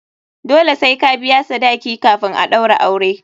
Dole sai ka biya sadaki kafin a ɗaura aure.